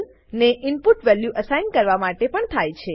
ને input value assign કરવા માટે પણ થાય છે